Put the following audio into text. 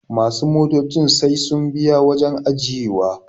masu motocin sai sun biya wajen ajiyewa